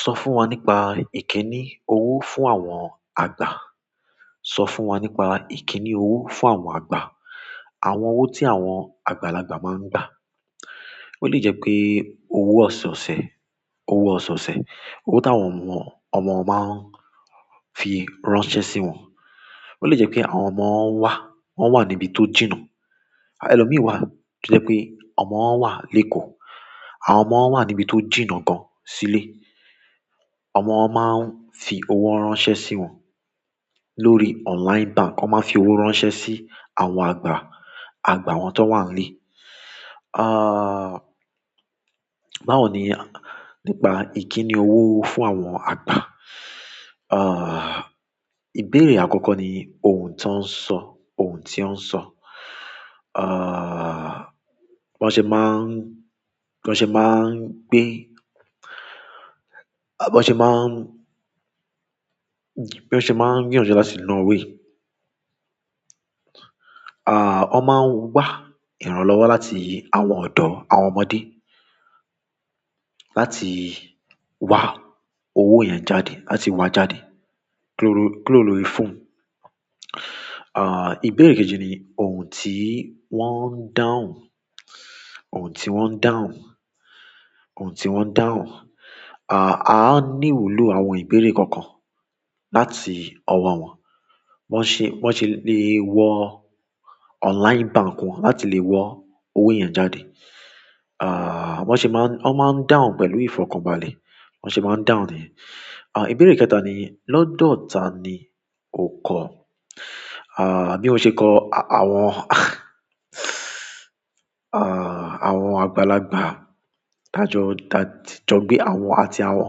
Sọ fún wa nípa ìkíni owó fún àwọn àgbà. Sọ fún wa nípa ìkíni owó fún àwọn àgbà. Àwọn owó tí àwọn àgbàlagbà máa ń gbà. Ó le jẹ́ pé owó ọ̀soosẹ̀, owó ọ̀soosẹ̀, owó tí àwọn ọmọ won máa ń fi ránṣẹ́ sí wọn. Ó le jẹ́ pé àwọn ọmọ wá, wọ́n wà níbi tó jìnnà. Ẹ̀lọ́ mìí wà, tí ó jẹ́ pé ọmọ wọ́n wà lékòó. Àwọn ọmọ wà níbi tó jìnnà gan sílé. Àwọn ọmọ máa ń fi owó ránṣẹ́ sí wọn lórí online bank. Wọ́n máa ń fi owó ránṣẹ́ sí àwọn àgbà, àgbà wọn tó wà nílé. Aaa, báwo ni nípa ìkíni owó fún àwọn àgbà? Aaa, ìbéèrè àkọ́kọ́ ni ohun tí wọ́n ń sọ, ohun tí wọ́n ń sọ. Aaa, bí wọ́n ṣe máa ń, bí wọ́n ṣe máa ń gbé, bí wọ́n ṣe máa ń, bí wọ́n ṣe máa ń gbìyànjú láti lọ wé. Aaa, wọ́n máa ń wá ìrànlọ́wọ́ láti àwọn ọ̀dọ́ àwọn ọmọdé láti wá owó yẹn jáde, láti wá jáde, ku ro lórí phone. Aaa, ìbéèrè kejì ni ohun tí wọ́n ń dáhùn, ohun tí wọ́n ń dáhùn, ohun tí wọ́n ń dáhùn. Aaa, a á ní ìwúlò àwọn ìbéèrè kọ̀ọ̀kan láti ọwọ́ wọn. Wọ́n ṣe, wọ́n ṣe lè wọ online bank wọn láti lè wọ owó yẹn jáde. Aaa, wọ́n ṣe máa ń, wọ́n máa ń dáhùn pẹ̀lú ìfọkànbalẹ̀. Wọ́n ṣe máa ń dáhùn niceness. Aaa, ìbéèrè kẹ́ta ni lọ́dọ̀ ta ni o kọ́? Aaa, bí mo ṣe kọ́ àwọn, aa, àwọn àgbàlagbà tí a ti jọ gbé àwọn àti àwọn,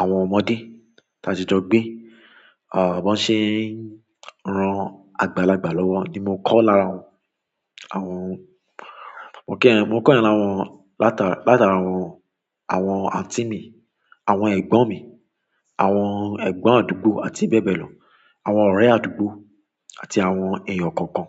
àwọn ọmọdé tí a ti jọ gbé. Aaa, bí wọ́n ṣe ń ran àgbàlagbà lọ́wọ́ ni mo kọ́ lára àwọn, àwọn, mo kíyẹ́n, mo kọ́ ìyẹn lára wọn látara àwọn, àwọn anti mi, àwọn ẹ̀gbọ́n mi, àwọn ẹ̀gbọ́n àdúgbò àti bẹ́ẹ̀ bẹ́ẹ̀ lọ. Àwọn ọ̀rẹ́ àdúgbò àti àwọn èèyàn kọ̀ọ̀kan.